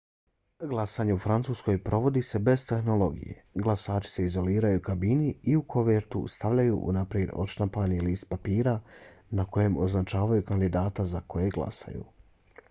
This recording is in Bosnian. glasanje u francuskoj provodi se bez tehnologije. glasači se izoliraju u kabini i u kovertu stavljaju unaprijed odštampani list papira na kojem označavaju kandidata za kojeg glasaju